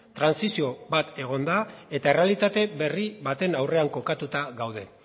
trantsizio bat egon da eta errealitate berri baten aurrean kokatuta gaude